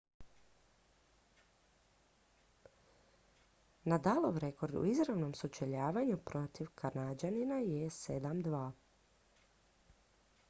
nadalov rekord u izravnom sučeljavanju protiv kanađanina je 7:2